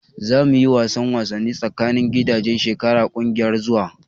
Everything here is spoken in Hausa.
Za mu yi wasan wasanni tsakanin gidaje shekara na kungiyar zuwa.